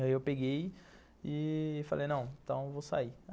Aí eu peguei e falei, não, então eu vou sair.